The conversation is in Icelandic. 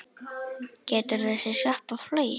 Getur þessi sjoppa flogið?